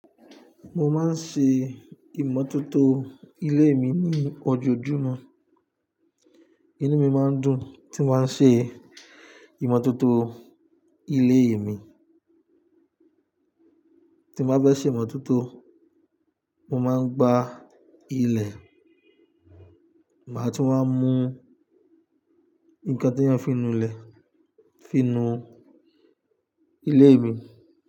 Mo máa ń ṣe ìmọ́tótó ilé mi ní ojoojúmọ́. Inú mi máa ń dùn tí mo bá ń ṣe ìmọ́tótó ilé mi. Tí mo ba fẹ ṣe ìmọ́tótó, mo máa ń gbá ilẹ̀, màá tún máa ń mú nnkan tí wọ́n fi nu ilẹ̀ fi nu ilé mi.